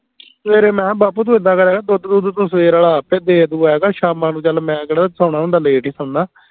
ਸਵੇਰੇ ਮੈਂ ਕਿਹਾ ਬਾਪੂ ਤੂੰ ਇੱਦਾਂ ਕਰਿਆ ਕਰ ਦੁੱਧ ਦੁਧ ਤੂੰ ਸਵੇਰੇ ਆਲਾ ਆਪੈ ਦੇ ਦੁ ਆਇਆ ਕਰ ਸ਼ਾਮਾਂ ਨੂੰ ਚੱਲ ਮੈਂ ਕਿਹੜਾ ਸੋਨਾਂ ਹੁੰਦਾ ਹੀ late ਹੀ ਸੋਨਾ